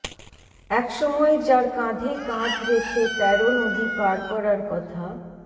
একসময় যার কাঁধে কাঁধ রেখে তেরো নদী পার করার কথা